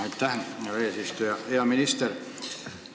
Aitäh, hea eesistuja!